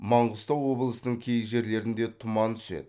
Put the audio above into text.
маңғыстау облысының кей жерлерінде тұман түседі